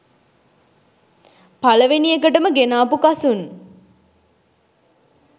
පළවෙනි එකටම ගෙනාපු කසුන්